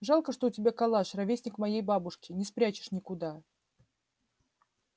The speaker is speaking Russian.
жалко что у тебя калаш ровесник моей бабушке не спрячешь никуда